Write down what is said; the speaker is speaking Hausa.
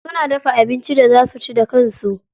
Suna dafa abincin da za suci da kansu.